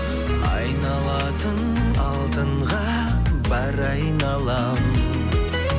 айналатын алтынға бар айналам